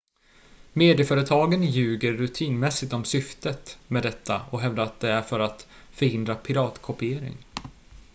"medieföretagen ljuger rutinmässigt om syftet med detta och hävdar att det är för att "förhindra piratkopiering"".